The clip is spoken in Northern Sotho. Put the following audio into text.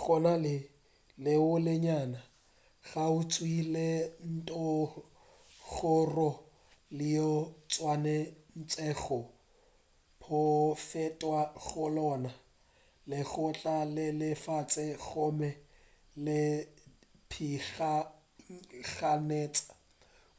go na le lewa le lennyane kgauswi le ntlhora leo go swanetšwego go fetwa go lona le tloga le le fase gomme le pitlaganetša